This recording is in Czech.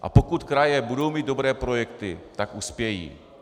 A pokud kraje budou mít dobré projekty, tak uspějí.